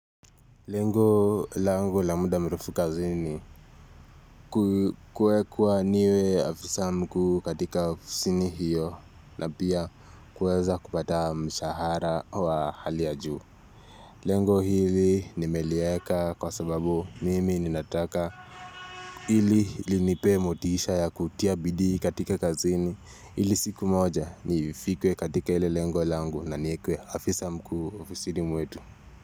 Lengo lango la muda mrefu kazini Kuwekwa niwe afisa mkuu katika ofisini hiyo na pia kuweza kupataa mshahara wa hali ya juu Lengo hivi nimelieka kwa sababu mimi ninataka ili linipe motiisha ya kutia bidii katika kazini ili siku moja nifikwe katika ile lengo lango na niekwe afisa mkuu ofisini mwetu.